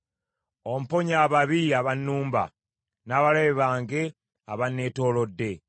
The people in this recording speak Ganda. Omponye ababi abannumba, n’abalabe bange abanneetoolodde.